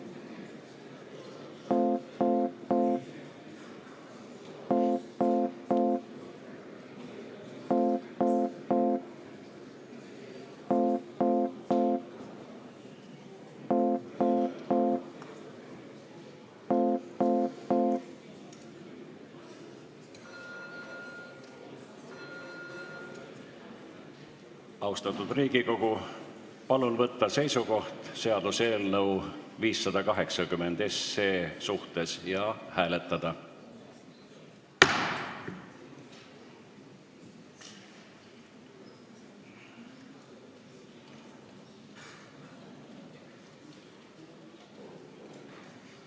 Austatud Riigikogu, palun võtta seisukoht seaduseelnõu 580 suhtes ja hääletada!